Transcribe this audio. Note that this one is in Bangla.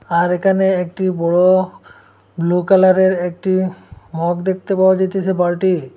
আর এখানে একটি বড়ো ব্লু কালারের একটি মগ দেখতে পাওয়া যাইতেছে বালটি ।